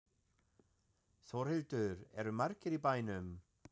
Þórhildur, eru margir í bænum?